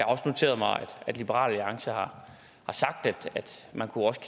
også noteret mig at liberal alliance har sagt at man også